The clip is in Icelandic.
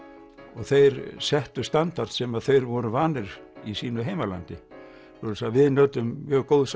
og þeir settu standard sem þeir voru vanir í sínu heimalandi svoleiðis að við nutum mjög góðs